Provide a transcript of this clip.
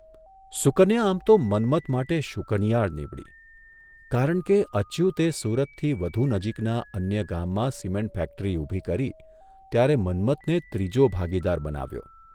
સુકન્યા આમ તો મન્મથ માટે શુકનિયાળ નીવડી, કારણ કે અચ્યુતે સુરતથી વધુ નજીકના અન્ય ગામમાં સિમેન્ટ ફેક્ટરી ઊભી કરી ત્યારે મન્મથને ત્રીજો ભાગીદાર બનાવ્યો.